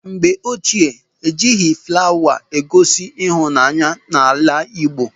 Mgbe ochie, ejighị flawa egosi ịhụnanya n'ala Igbo.